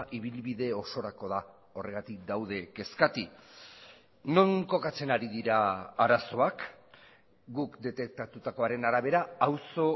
ibilbide osorako da horregatik daude kezkati non kokatzen ari dira arazoak guk detektatutakoaren arabera auzo